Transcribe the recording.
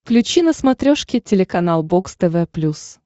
включи на смотрешке телеканал бокс тв плюс